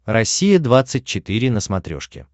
россия двадцать четыре на смотрешке